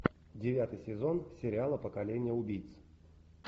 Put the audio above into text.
девятый сезон сериала поколение убийц